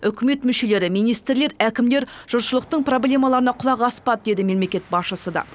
үкімет мүшелері министрлер әкімдер жұртшылықтың проблемаларына құлақ аспады деді мемлекет басшысы да